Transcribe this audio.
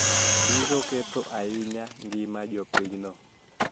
Biro ketho ahinya ngima jopinyno